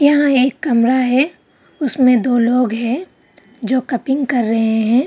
यहाँ एक कमरा है उसमें दो लोग है जो कर रहे हैं।